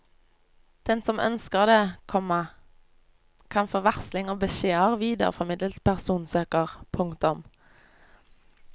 Den som ønsker det, komma kan få varsling om beskjeder videreformidlet til personsøker. punktum